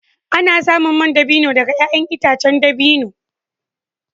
Ana samun man dabino daga ’ya’yan itacen dabino.